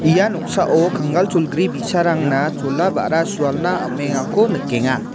ia noksao kangal cholgri bi·sarangna chola ba·ra sualna am·engako nikenga.